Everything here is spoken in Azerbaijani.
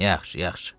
"Yaxşı, yaxşı.